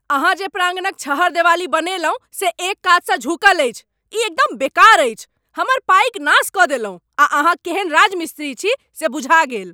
अहाँ जे प्राङ्गणक छहरदेबाली बनेलहुँ से एक कातसँ झुकल अछि, ई एकदम बेकार अछि, हमर पाइक नाश कऽ देलहुँ आ अहाँ केहन राजमिस्त्री छी से बुझा गेल।